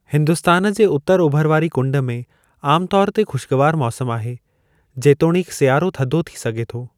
हिन्दुस्तान जे उतरु ओभर वारी कुंड में आमु तौर ते ख़ुशगवार मौसमु आहे, जेतोणीकि सियारो थधो थी सघे थो।